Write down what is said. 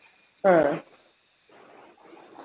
ആ